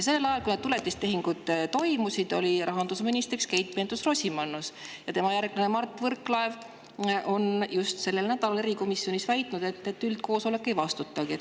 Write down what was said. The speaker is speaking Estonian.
Sellel ajal, kui need tuletistehingud toimusid, oli rahandusminister Keit Pentus-Rosimannus, ja tema järglane Mart Võrklaev väitis just sellel nädalal erikomisjonis, et üldkoosolek ei vastutagi.